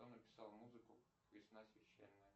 кто написал музыку весна священная